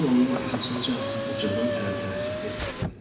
Kral onun arxasınca ucadan tələm-tələsik dedi: